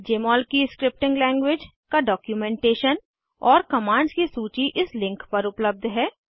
जमोल की scripting language का documentation और कमांड्स की सूची इस लिंक पर उपलब्ध है